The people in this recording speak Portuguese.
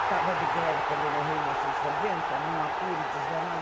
Estava de greve quando ele morreu em mil novecentos e noventa, num apuro desgramado.